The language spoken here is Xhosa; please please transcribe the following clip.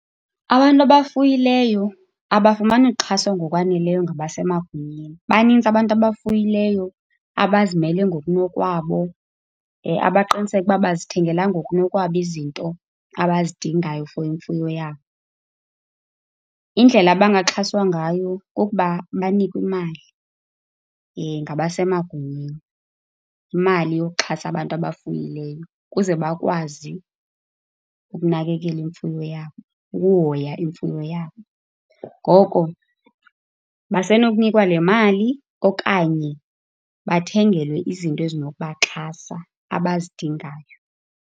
Abantu abafuyileyo abafumani uxhaso ngokwaneleyo ngabasemagunyeni. Banintsi abantu abafuyileyo abazimele ngokunokwabo, abaqiniseka ukuba bazithengela ngokunokwabo izinto abazidingayo for imfuyo yabo. Indlela abangaxhaswa ngayo kokuba banikwe imali ngabasemagunyeni, imali yoxhasa abantu abafuyileyo kuze bakwazi ukunakekela imfuyo yabo, ukuhoya imfuyo yabo. Ngoko basenokunikwa le mali okanye bathengelwe izinto ezinokubaxhasa abazidingayo.